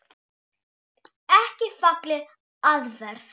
Ekki falleg aðferð.